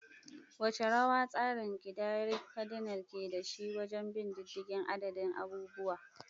Wace rawa tsarin kidayar kadinal ke da shi wajen bin diddigin adadin abubuwa?